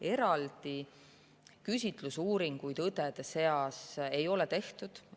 Eraldi küsitlusuuringuid õdede seas ei ole tehtud.